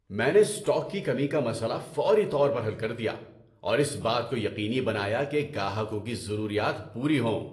میں نے اسٹاک کی کمی کا مسئلہ فوری طور پر حل کر دیا اور اس بات کو یقینی بنایا کہ گاہکوں کی ضروریات پوری ہوں۔